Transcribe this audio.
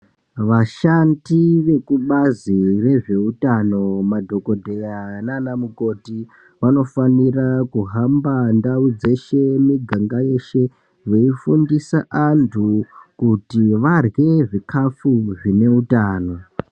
Vashandi vekubazi rezvehutano madhokodheya nana mukoti vanofanira kuhamba ndau dzeshe mumiganga yeshe veifundisa antu kuti varye zvikafu zvine hutano.